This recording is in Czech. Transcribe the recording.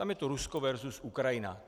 Tam je to Rusko versus Ukrajina.